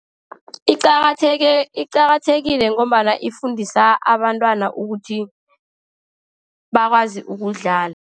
Iqakatheke, iqakathekile ngombana ifundisa abantwana ukuthi bakwazi ukudlala.